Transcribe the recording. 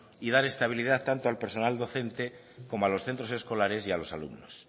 y dar estabilidad tanto al personal docente como a los centros escolares y a los alumnos